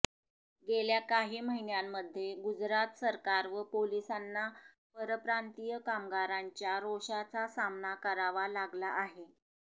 गेल्या काही महिन्यांमध्ये गुजरात सरकार व पोलिसांना परप्रांतीय कामगारांच्या रोषाचा सामना करावा लागला आहे